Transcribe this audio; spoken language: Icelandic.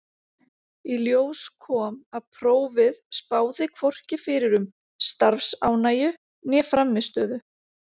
Í ljós kom að prófið spáði hvorki fyrir um starfsánægju né frammistöðu.